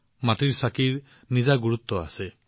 মাটিৰ চাকিৰো নিজা গুৰুত্ব আছে